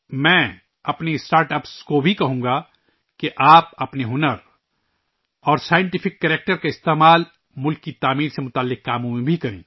میں اپنے startups سے بھی کہوں گا کہ آپ اپنی صلاحیتوں اور سائنسی کردار کو قوم کی تعمیر سے متعلق کام میں استعمال کریں